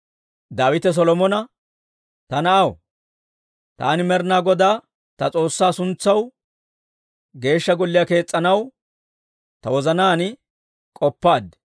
Daawite Solomona, «Ta na'aw, taani Med'inaa Godaa ta S'oossaa suntsaw Geeshsha Golliyaa kees's'anaw ta wozanaan k'oppaad.